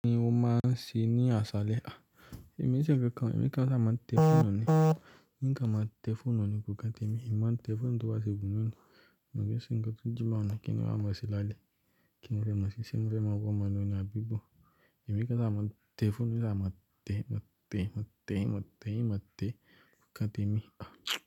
Ni o ma sin ni aṣalẹ a. Ẹ̀mí ṣe kankan, ẹ̀mi kan ṣa ma tẹ foonu ni, nǹkan ma tẹ foonu ni kò kán te mi. Ẹ̀mí ma tẹ fooun to bá se wù mi ni. Òun yóò sìn ń kan tún jí máa mú kín wá mọ sí lálẹ́. Kí n fẹ́ mọ̀ sí i, ṣé n fẹ́ mọ̀ bó ọmọ náà ni a bí bó? Ẹ̀mí kan ṣa ma tẹ fún mi, ṣa ma tẹ, ma tẹ, ma tẹ, ma tẹ, ma tẹ kò ká tẹ mi a.